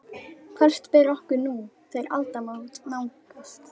Hvert ber okkur nú, þegar aldamót nálgast?